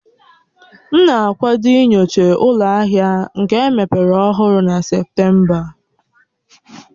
M na-akwado inyocha ụlọ ahịa nka emepere ọhụrụ na Septemba